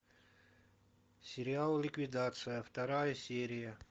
сериал ликвидация вторая серия